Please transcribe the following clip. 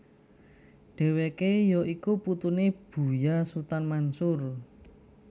Dheweke ya iku putune Buya Sutan Mansur